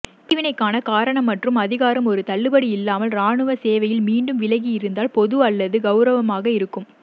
பிரிவினைக்கான காரணம் மற்றும் அதிகாரம் ஒரு தள்ளுபடி இல்லாமல் இராணுவ சேவையில் மீண்டும் விலகியிருந்தால் பொது அல்லது கெளரவமானதாக இருக்கும்